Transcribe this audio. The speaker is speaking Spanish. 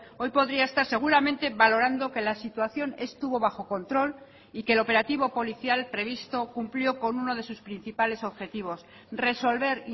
hoy podría estar seguramente valorando que la situación estuvo bajo control y que el operativo policial previsto cumplió con uno de sus principales objetivos resolver